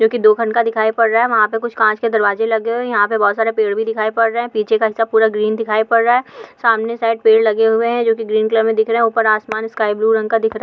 जो कि दो ख़ान का दिखाई पड रहा हैं वहाँ पे कुछ कांच दरवाजे लगे हुये हैं यहाँ पे बहुत सारे पेड भी दिखाई पड रहे हैं पीछे का हिस्सा पूरा ग्रीन दिखाई पड रहा हैं सामने साइड पेड लगे हुये हैं जो कि ग्रीन कलर मे दिख रहे हैं उपर आसमान स्काइ ब्लू रंगा दिख रहा हैं।